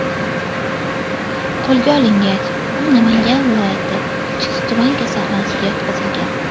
Qo‘lga olingach, u Namangan viloyati Chust tuman kasalxonasiga yotqizilgan.